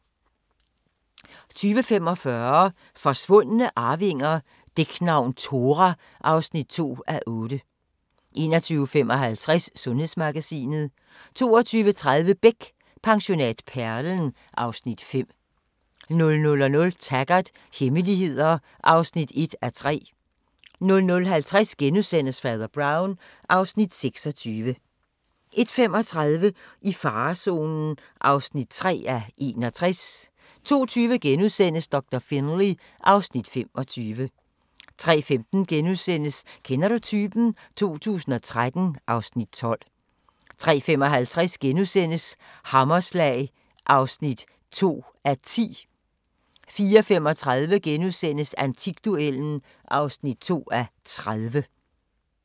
20:45: Forsvundne arvinger: Dæknavn Thora (2:8) 21:55: Sundhedsmagasinet 22:30: Beck: Pensionat Perlen (Afs. 5) 00:00: Taggart: Hemmeligheder (1:3) 00:50: Fader Brown (Afs. 26)* 01:35: I farezonen (3:61) 02:20: Doktor Finlay (Afs. 25)* 03:15: Kender du typen? 2013 (Afs. 12)* 03:55: Hammerslag (2:10)* 04:35: Antikduellen (2:30)*